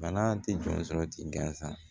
Bana tɛ jɔn sɔrɔ ti gansan